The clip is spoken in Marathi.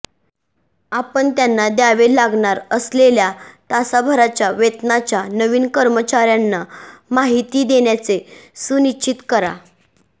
आपण त्यांना द्यावे लागणार असलेल्या तासाभराच्या वेतनाच्या नवीन कर्मचार्यांना माहिती देण्याचे सुनिश्चित करा